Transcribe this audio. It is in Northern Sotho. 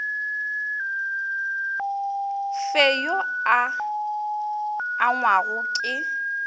fe yo a angwago ke